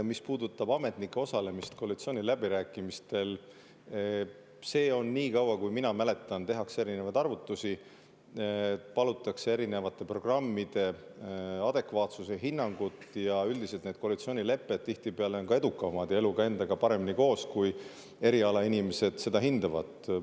Mis puudutab ametnike osalemist koalitsiooniläbirääkimistel, siis nii kaua, kui mina mäletan, on olnud nii, et tehakse erinevaid arvutusi, palutakse erinevate programmide adekvaatsuse hinnangut, ja üldiselt need koalitsioonilepped tihtipeale on ka edukamad ja elu endaga paremini koos, kui erialainimesed seda hindavad.